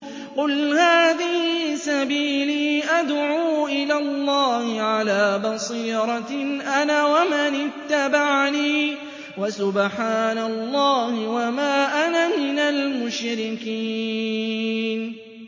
قُلْ هَٰذِهِ سَبِيلِي أَدْعُو إِلَى اللَّهِ ۚ عَلَىٰ بَصِيرَةٍ أَنَا وَمَنِ اتَّبَعَنِي ۖ وَسُبْحَانَ اللَّهِ وَمَا أَنَا مِنَ الْمُشْرِكِينَ